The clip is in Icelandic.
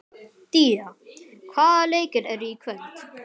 Día, hvaða leikir eru í kvöld?